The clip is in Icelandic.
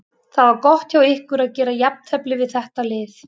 Það var gott hjá ykkur að gera jafntefli við þetta lið.